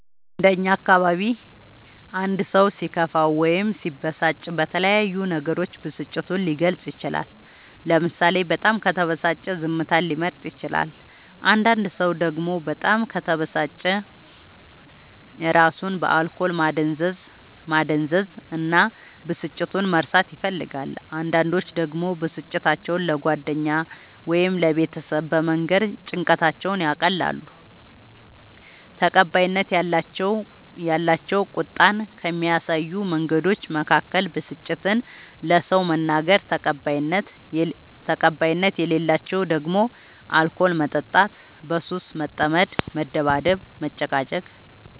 እንደ እኛ አካባቢ አንድ ሰው ሲከፋው ወይም ሲበሳጭ በተለያዩ ነገሮች ብስጭቱን ሊገልፅ ይችላል ለምሳሌ በጣም ከተበሳጨ ዝምታን ሊመርጥ ይችላል አንዳንድ ሰው ደግሞ በጣም ከተበሳጨ እራሱን በአልኮል ማደንዘዝ እና ብስጭቱን መርሳት ይፈልጋል አንዳንዶች ደግሞ ብስጭታቸው ለጓደኛ ወይም ለቤተሰብ በመንገር ጭንቀታቸውን ያቀላሉ። ተቀባይነት ያላቸው ቁጣን ከሚያሳዩ መንገዶች መካከል ብስጭትን ለሰው መናገር ተቀባይነት የሌላቸው ደግሞ አልኮል መጠጣት በሱስ መጠመድ መደባደብ መጨቃጨቅ